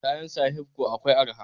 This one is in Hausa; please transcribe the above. Kayan sahaibco akwai araha